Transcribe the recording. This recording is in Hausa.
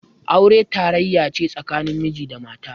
Aure tarayya ce tsakanin miji da mata.